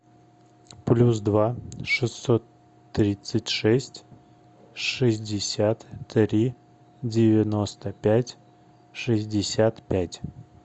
плюс два шестьсот тридцать шесть шестьдесят три девяносто пять шестьдесят пять